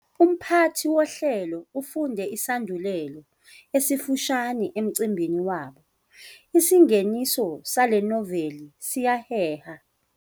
Umphathi wohlelo ufunde isandulelo esifushane emcimbini wabo, isingeniso sale noveli siyaheha.